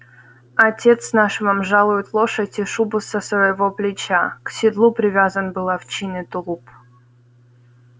отец наш вам жалует лошадь и шубу со своего плеча к седлу привязан был овчинный тулуп